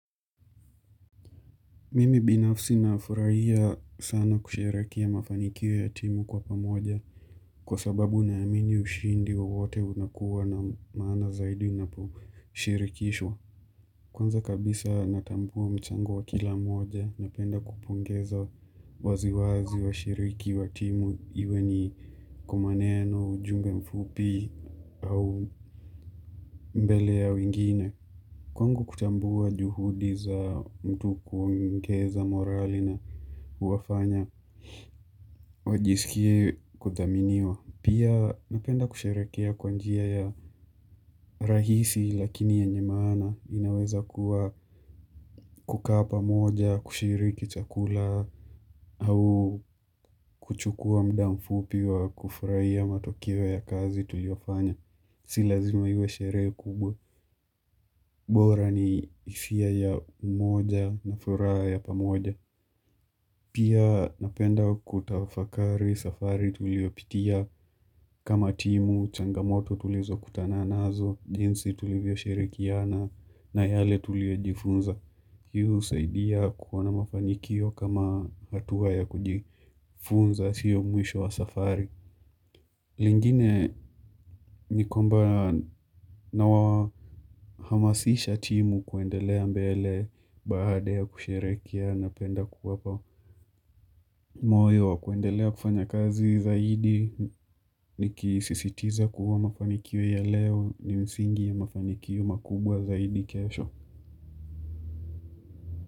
Mimi binafsi nafurahia sana kusherehekea mafanikio ya timu kwa pamoja Kwa sababu naamini ushindi wa wote unakuwa na maana zaidi unaposhirikishwa Kwanza kabisa natambua mchango wa kila moja na penda kupongeza waziwazi wa shiriki wa timu iwe ni kwa maneno, ujumbe mfupi au mbele ya wengine Kwangu kutambua juhudi za mtu kumkeza morali na Huwafanya wajisikie kudhaminiwa. Pia napenda kusherekea kwa njia ya rahisi lakini yenye maana inaweza kuwa kukaa pamoja, kushiriki chakula au kuchukua muda mfupi wa kufurahiya matokeo ya kazi tuliofanya. Si lazima iwe sheree kubwa, bora ni hifia ya umoja na furaha ya pamoja. Pia napenda kutafakari safari tulio pitia kama timu, changamoto tulizo kutana nazo, jinsi tulivyo shirikiana na yale tulio jifunza. Hii husaidia kuwa na mafanikio kama hatuwa ya kujifunza sio mwisho wa safari lingine ni kwamba nawa hamasisha timu kuendelea mbele Baada ya kusherekea napenda kuwapa moyo wa kuendelea kufanya kazi zaidi Nikisisitiza kuwa mafanikio ya leo ni msingi ya mafanikio makubwa zaidi kesho.